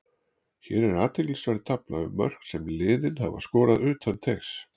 Hér er athyglisverð tafla um mörk sem liðin hafa skorað utan teigs.